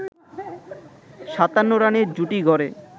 ৫৭ রানের জুটি গড়ে